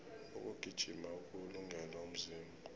ukugijima kuwulungele umzimba